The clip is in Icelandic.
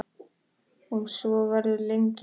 Og svo verður lengi enn.